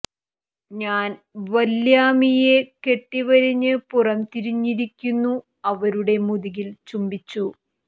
ഞാൻ വല്ല്യാമ്മീയെ കെട്ടി വരിഞ്ഞ് പുറം തിരിഞ്ഞിരിക്കുന്നു അവരുടെ മുതുകിൽ ചുംബിച്ചു